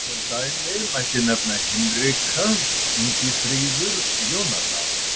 Sem dæmi mætti nefna Hinrika, Ingifríður, Jónadab.